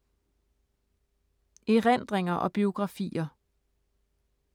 Erindringer og biografier